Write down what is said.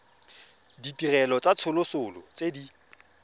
ditirelo tsa tsosoloso tse di